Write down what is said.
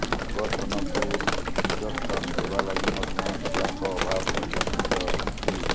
ସଙ୍ଗଠନକୁ ଦିଗ୍ଦର୍ଶନ ଦେବା ଲାଗି ମଧ୍ୟ ନେତାଙ୍କ ଅଭାବ ପରିଲକ୍ଷିତ ହୋଇଛି